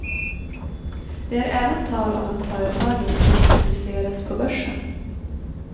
Det är även tal om att företaget ska introduceras på börsen.